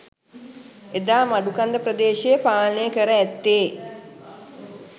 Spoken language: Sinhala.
එදා මඩුකන්ද ප්‍රදේශය පාලනය කර ඇත්තේ